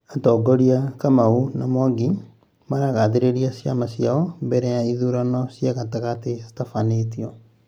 mũtongoria Kamau na Mwangi maragathĩrĩria ciama ciao mbele ya ithurano cia gatagatĩ citafanĩtio